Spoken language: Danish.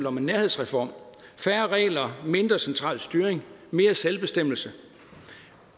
om nærhedsreform færre regler mindre central styring mere selvbestemmelse